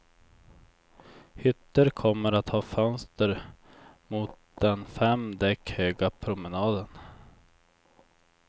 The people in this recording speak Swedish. Hytter kommer att ha fönster mot den fem däck höga promenaden.